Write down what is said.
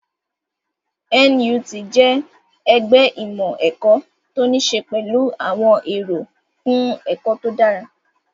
NUT jẹ́ ẹgbẹ́ ìmọ̀ ẹ̀kọ́ tó ní ṣe pẹ̀lú àwọn èrò fún ẹ̀kọ́ tó dára